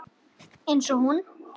Einsog hún.